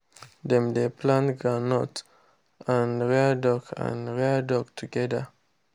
dem dey plant groundnut and rear duck and rear duck together.